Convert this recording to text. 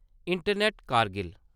internet Kargil